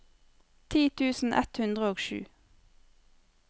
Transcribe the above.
ti tusen ett hundre og sju